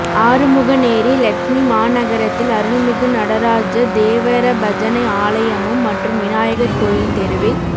ஆறுமுகனேரி லெட்சுமிமாநகரத்தில் அருள்மிகு நடராஜ தேவர பஜனை ஆலயமும் மற்றும் விநாயகா் கோயில் தெருவில்